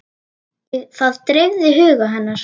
Það dreifði huga hennar.